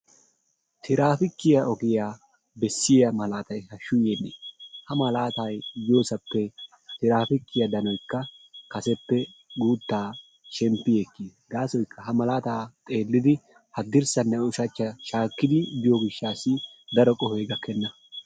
Tiraapikiyaa ogiyaa beessiyaa malatay haashshu yeenee! Ha malatay yoosappe tiraapikiyaa danoykka kaseppe guuttaa shemppi ekkiis. gaasoykka ha malataa xeellidi hadirssanne ushshachchaa shaakidi biyoo giishaasi daro qohoy gakkena.